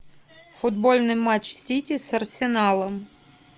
футбольный матч сити с арсеналом